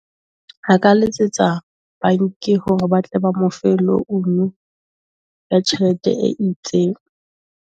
A ka letsetsa bank hore ba tle ba mo fe loan ya tjhelete e itseng.